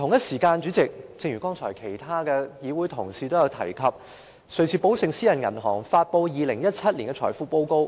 此外，正如剛才其他議會同事所述，瑞士寶盛私人銀行發表了2017年財富報告。